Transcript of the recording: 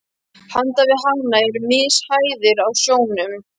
Handan við hana eru mishæðir á sjónum.